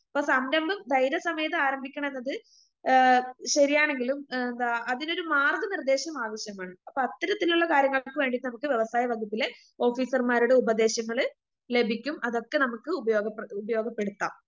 ഇപ്പ സംരംഭം ധൈര്യസമേതം ആമാരംഭിക്കണംന്നത് ഏ ശരിയാണെങ്കിലും എന്താ അതിനൊരു മാർഗ്ഗനിർദ്ദേശമാവശ്യമാണ്.അപ്പ അത്തരത്തിലിള്ള കാര്യങ്ങൾക്കൊക്കെവേണ്ടിട്ട് വ്യവസായവകുപ്പിലെ ഓഫീസർമാരുടെ ഉപദേശങ്ങള് ലഭിക്കും അതൊക്കെ നമുക്ക് ഉപയോഗപ്ര ഉപയോഗപ്പെടുത്താം.